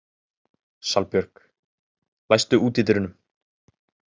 Salbjörg, læstu útidyrunum.